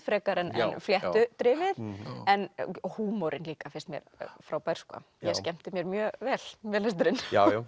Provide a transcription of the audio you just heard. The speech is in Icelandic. frekar en fléttudrifið en húmorinn líka finnst mér frábær ég skemmti mér mjög vel við lesturinn